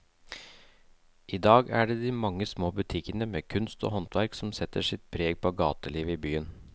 I dag er det de mange små butikkene med kunst og håndverk som setter sitt preg på gatelivet i byen.